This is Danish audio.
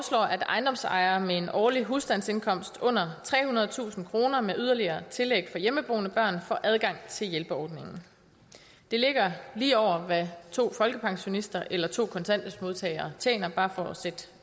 ejendomsejere med en årlig husstandsindkomst under trehundredetusind kroner med yderligere tillæg for hjemmeboende børn får adgang til hjælpeordningen det ligger lige over hvad to folkepensionister eller to kontanthjælpsmodtagere tjener bare for